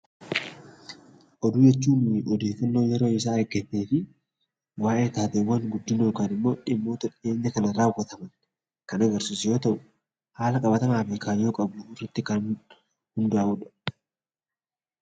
Oduu jechuun odeeffannoo yeroo isaa eeggatee fi waa'ee taateewwan guddina yookiin immoo dhimmoota dhiyeenya kana raawwataman kan agarsiisu yoo ta’u, haala qabatamaa fi kaayyoo qabh irratti kan hundaa’udha.